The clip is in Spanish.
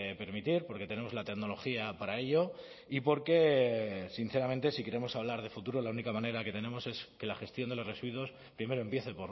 permitir porque tenemos la tecnología para ello y porque sinceramente si queremos hablar de futuro la única manera que tenemos es que la gestión de los residuos primero empiece